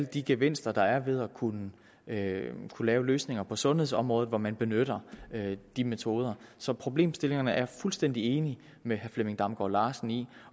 de gevinster der er ved at kunne lave kunne lave løsninger på sundhedsområdet hvor man benytter de metoder så problemstillingerne er jeg fuldstændig enig med herre flemming damgaard larsen i